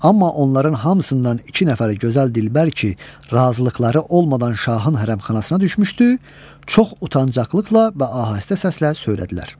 Amma onların hamısından iki nəfəri gözəl dilbər ki, razılıqları olmadan şahın hərəmxanasına düşmüşdü, çox utancaqlıqla və ahəstə səslə söylədilər.